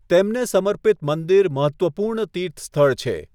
તેમને સમર્પિત મંદિર મહત્ત્વપૂર્ણ તીર્થસ્થળ છે.